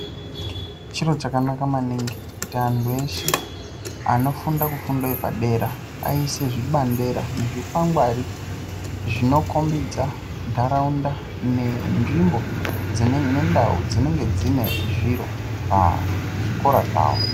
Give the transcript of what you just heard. Chiro chakanaka maningi kuti anhu eshe anofunda kufundo yepadera aise zvibandera nezvikwangwari zvinokombidza nharaunda nenzvimbo nendau dzinenge dzine zviro pazvikora zvawo.